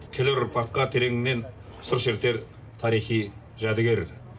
келер ұрпаққа тереңінен сыр шертер тарихи жәдігер